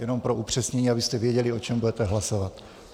Jenom pro upřesnění, abyste věděli, o čem budete hlasovat.